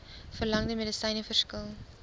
verlangde medisyne verskil